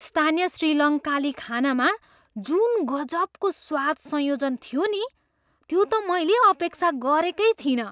स्थानीय श्रीलङ्काली खानामा जुन गजबको स्वाद संयोजन थियो नि त्यो त मैले अपेक्षा गरेकै थिइनँ।